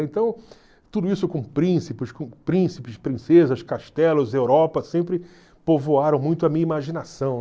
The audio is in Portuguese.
Então, tudo isso com com príncipes, princesas, castelos, Europa, sempre povoaram muito a minha imaginação.